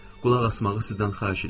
Qulaq asmağı sizdən xahiş eləyirəm.